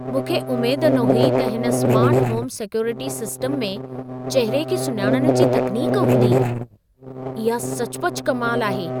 मूंखे उमेद न हुई त हिन स्मार्ट होम सिक्योरिटी सिस्टम में चहिरे खे सुञाणण जी तकनीक हूंदी। इहा सचुपचु कमाल आहे!